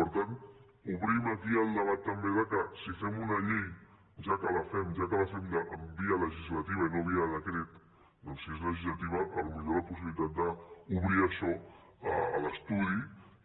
per tant obrim aquí el debat també que si fem una llei ja que la fem via legislativa i no via decret doncs si és legislativa potser la possibilitat d’obrir això a l’estudi